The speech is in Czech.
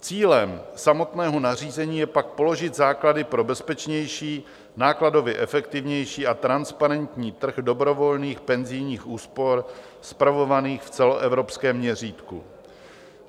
Cílem samotného nařízení je pak položit základy pro bezpečnější, nákladově efektivnější a transparentní trh dobrovolných penzijních úspor spravovaných v celoevropském měřítku.